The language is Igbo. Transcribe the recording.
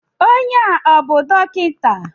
Onye a ọ bú dọkịta?